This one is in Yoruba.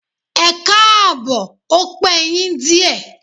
Ẹkáàbọ̀, ó pe yín díè.